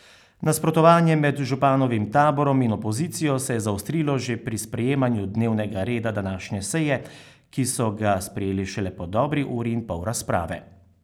Nasprotovanje med županovim taborom in opozicijo se je zaostrilo že pri sprejemanju dnevnega reda današnje seje, ki so ga sprejeli šele po dobri uri in pol razprave.